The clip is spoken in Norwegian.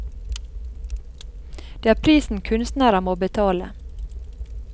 Det er prisen kunstnere må betale.